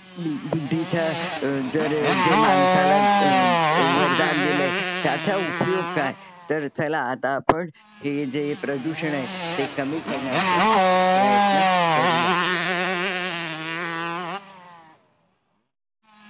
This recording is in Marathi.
बुद्धीचा अ जर जे माणसाला अ वरदान दिलंय. त्याचा उपयोग काय? तर चला आता आपण हे जे प्रदूषण आहे ते कमी करण्याचा प्रयत्न करूया